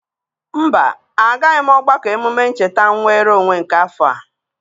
Mba, agaghị m ogbako emume ncheta nnwere onwe nke afọ a.